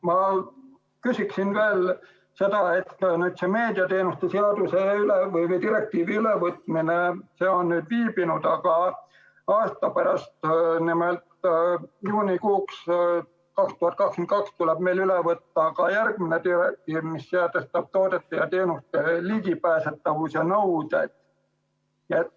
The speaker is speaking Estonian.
Ma küsin veel seda, et meediateenuste direktiivi ülevõtmine on viibinud, aga aasta pärast, nimelt 2022. aasta juunikuuks tuleb meil üle võtta järgmine direktiiv, mis sätestab toodete ja teenuste ligipääsetavuse nõuded.